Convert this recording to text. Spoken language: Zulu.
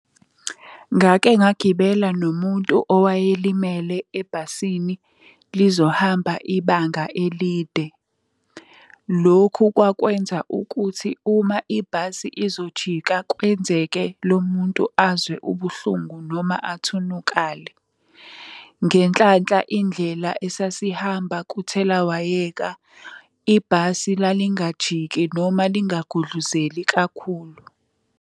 Ngake ngagibela nomuntu owayelimele ebhasini lizohamba ibanga elide. Lokhu kwakwenza ukuthi uma ibhasi izojika kwenzeke lo muntu azwe ubuhlungu noma athunukale. Ngenhlanhla indlela esasihamba kuthelawayeka, ibhasi lalingajiki noma lingagudluzeli kakhulu.